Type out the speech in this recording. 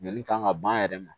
Ɲinini kan ka ban a yɛrɛ ma